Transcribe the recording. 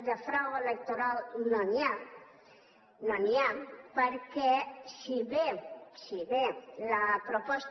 de frau electoral no n’hi ha no n’hi ha perquè si bé si bé la proposta